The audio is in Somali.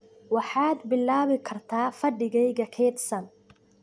Waxaad bilaabi kartaa fadhigayga kaydsan